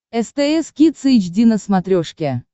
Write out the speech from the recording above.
стс кидс эйч ди на смотрешке